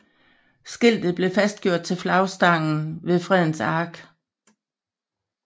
Skiltet blev fastgjort til flagstangen ved Fredens Ark